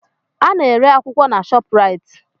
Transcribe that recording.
Ana-ere akwụkwọ na Shọpraịt.